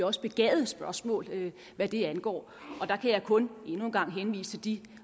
også begavede spørgsmål hvad det angår der kan jeg kun endnu en gang henvise til de